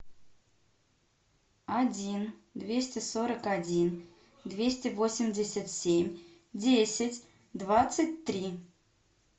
один двести сорок один двести восемьдесят семь десять двадцать три